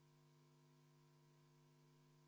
Juhtivkomisjoni ettepanek on arvestada seda sisuliselt.